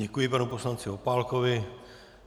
Děkuji panu poslanci Opálkovi.